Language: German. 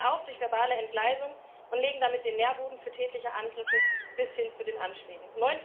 Sie fallen auf durch verbale Entgleisungen und legen damit den Nährboden für tätliche Angriffe bis hin zu den Anschlägen.